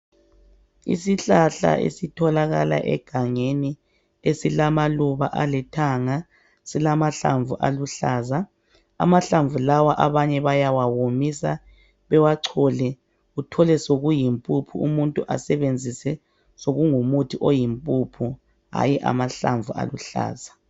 Isihlahla esitholakala egangeni esilamaluba alithanga silamahlamvu aluhlaza, amahlamvu lawa abanye bayawawomisa bewachole uthole sokuyimpuphu umuntu asebenzise sokungumuthi oyimpuphu hayi amahlamvu aluhlaza.